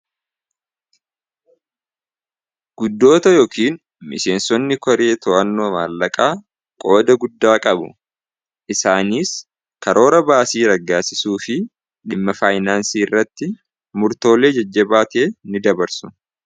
guddoota yookiin miseensotni koree to'annoo maallaqaa qooda guddaa qabu isaaniis karoora baasii raggaasisuu fi dhimma faayinaansii irratti murtoolee jajjabaatie ni dabarsu